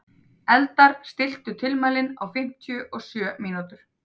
Eldar, stilltu tímamælinn á fimmtíu og sjö mínútur.